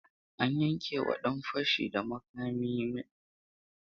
An yankewa ɗan fashi da makamin huƙuncin ɗaurin shekaru biyar a gidan yari tare da aiki tukuru.